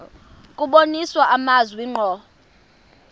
kubonisa amazwi ngqo